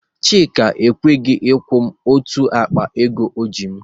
Chika ekweghị akwụ otu akpa ego ọ ji m